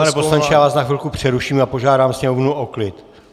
Pane poslanče, já vás na chvilku přeruším a požádám sněmovnu o klid.